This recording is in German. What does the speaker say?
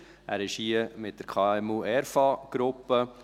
Er ist hier mit der KMU-ERFA-Gruppe.